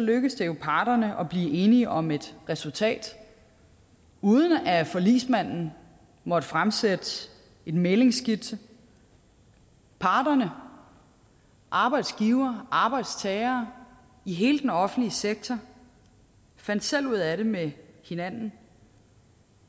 lykkedes det jo parterne at blive enige om et resultat uden at forligsmanden måtte fremsætte en mæglingsskitse parterne arbejdsgivere og arbejdstagere i hele den offentlige sektor fandt selv ud af det med hinanden